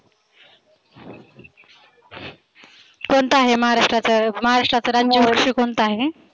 कोणता आहे महाराष्ट्राचा महाराष्ट्राचा राज्य पक्षी कोणता आहे?